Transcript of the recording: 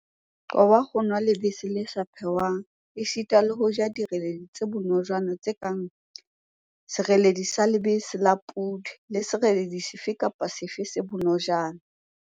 Qoba ho nwa lebese le sa phehwang esita le ho ja direledi tse bonojana tse kang feta, sereledi sa lebese la podi le sereledi sefe kapa sefe se bonojana5.